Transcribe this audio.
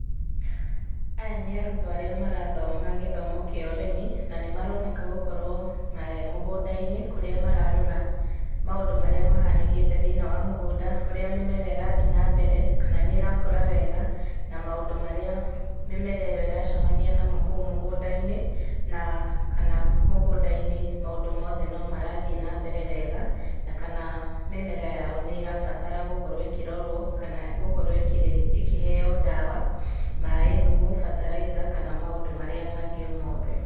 Aya nĩ arutwo arĩa marathoma gĩthomo kĩa ũrĩmi na maroneka gũkorwo me mũgũnda-inĩ kũrĩa mararora maũndũ marĩa mahanĩkĩte thĩinĩ wa mũgũnda. Ũrĩa mĩmera ĩrathiĩ na mbere kana nĩĩrakũra wega na maũndũ marĩa mĩmera ĩyo ĩracemania namo kũu mũgũnda-inĩ na kana mũgũnda-inĩ maũndũ mothe no marathiĩ na mbere wega. Na kana mĩmera yao nĩrabatara gũkorwo ĩkĩrorwo kana gũkorwo ĩkĩheyo ndawa, maaĩ, thumu, bataraitha kana maũndũ marĩa mangĩ o mothe. .